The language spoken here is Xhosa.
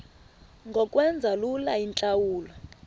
ngokwenza lula iintlawulo